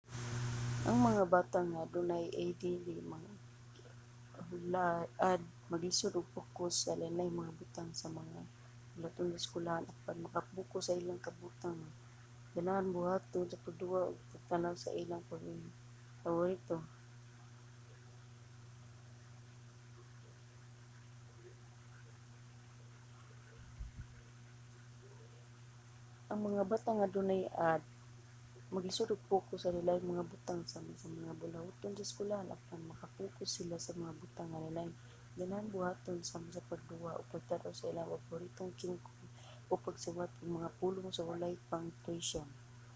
ang mga bata nga adunay add maglisud og pokus sa lain-laing mga butang sama sa mga buluhaton sa eskwelahan apan maka-pokus sila sa mga butang nga ilang ganahan buhaton sama sa pagduwa o pagtan-aw sa ilang paboritong kingkoy o pagsuwat og mga pulong nga walay punctuation